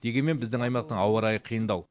дегенмен біздің аймақтың ауа райы қиындау